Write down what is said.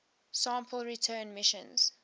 sample return missions